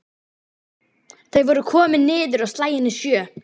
Þau voru komin niður á slaginu sjö.